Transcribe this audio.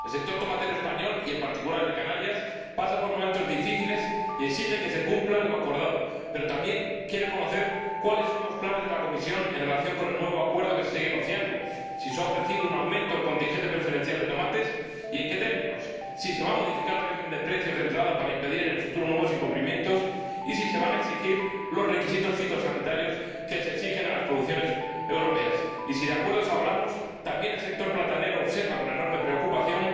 El sector tomatero español y, en particular, el de Canarias, pasa por momentos difíciles, y exige que se cumpla lo acordado, pero también quiere saber cuáles son los planes de la Comisión en relación con el nuevo acuerdo que se sigue negociando si se ha ofrecido un aumento del contingente preferencial de tomates y en qué términos, si se va a modificar el régimen de precios de entrada para impedir en el futuro nuevos incumplimientos, y si se van a exigir los requisitos fitosanitarios que se exigen a las producciones europeas. Y, si de acuerdos hablamos, también el sector platanero observa con enorme preocupación